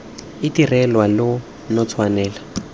itirelwa lo ne lo tshwanela